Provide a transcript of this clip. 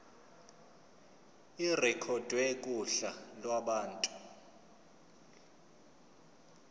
irekhodwe kuhla lwabantu